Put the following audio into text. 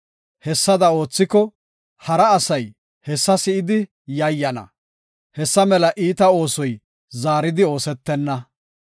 Hessada oothiko, hara asay hessa si7idi yayyana; hessa mela iita oosoy zaaridi oosetenna.